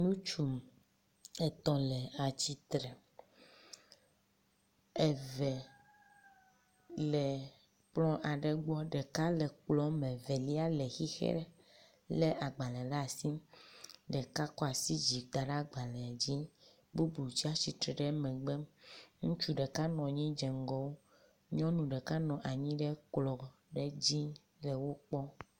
Ŋutsu etɔ̃ le atsitre, eve le kplɔ aɖe gbɔ, ɖeka le kplɔ me, velia le xixe lé agbale ɖe asi, ɖeka kɔ asi dzi, da ɖe agbalẽ dzi, bubun sɛ tsatsitre ɖe megbe. Ŋutsu ɖeka nɔ anyi dze ŋgɔ wo, nyɔnu ɖeka nɔ anyi ɖe kplɔ ɖe dzi le wo kpɔm.